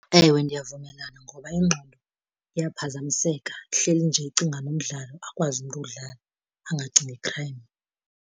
Ewe, ndiyavumelana ngoba ingqondo iyaphazamiseka. Ihleli nje icingana nomdlalo, akwazi umntu uwudlala angacingi i-crime.